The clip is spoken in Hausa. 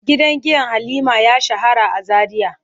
Gidan giya Halima ya shahara a Zaria.